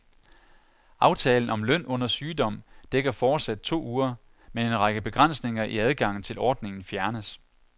Aftalen om løn under sygdom dækker fortsat to uger, men en række begrænsninger i adgangen til ordningen fjernes.